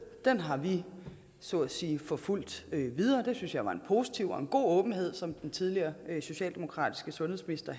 har vi så at sige forfulgt videre jeg synes det var en positiv og god åbenhed som den tidligere socialdemokratiske sundhedsminister